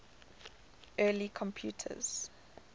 early computers